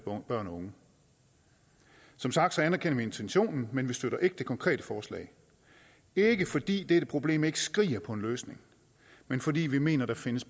børn og unge som sagt anerkender vi intentionen men vi støtter ikke det konkrete forslag det er ikke fordi dette problem ikke skriger på en løsning men fordi vi mener der findes